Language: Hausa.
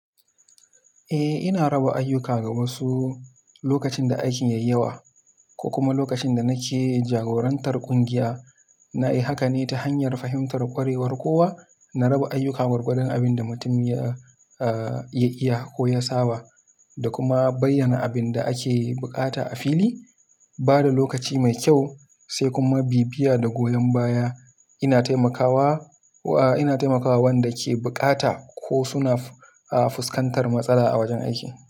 Eh, ina raba ayyuka ga wasu lokacin da aikin ya yi yawa, ko kuma lokacin da nake jagorantar kungiya. Na yi haka ne ta hanyar fahimtar ƙwarewar kowa, na raba ayyuka gwargwadon abin da mutum ya iya ko ya saba da kuma bayyana abin da ake buƙata a fili, ba da lokaci mai kyau, sai kuma bibiya da goyon baya. Ina taimakawa wa, ina taimakawa wanda ke bukata ko suna fuskantar matsala a wajen aiki.